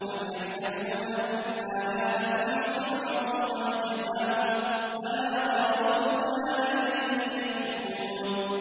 أَمْ يَحْسَبُونَ أَنَّا لَا نَسْمَعُ سِرَّهُمْ وَنَجْوَاهُم ۚ بَلَىٰ وَرُسُلُنَا لَدَيْهِمْ يَكْتُبُونَ